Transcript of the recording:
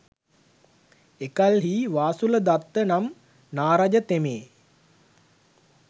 එකල්හි වාසුල දත්ත නම් නාරජතෙමේ